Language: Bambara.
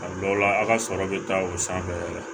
A dɔw la a ka sɔrɔ bɛ taa o sanfɛ yɛrɛ